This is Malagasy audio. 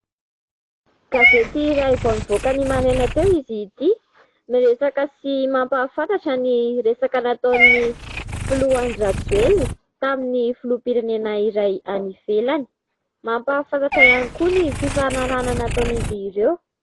Gazety iray vao nivoaka ny maraina teo izy ity, miresaka sy mampahafantatra ny resaka nataon'ny filoha Andry Rajoelina tamin'ny filoham-pirenena iray any ivelany ; mampahafantatra ihany koa ny fifanarahana nataon'izy ireo.